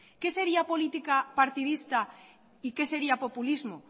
qué sería política partidista y qué sería populismo